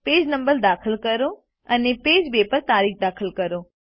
page number દાખલ કરો અને પેજ 2 પર તારીખ દાખલ કરો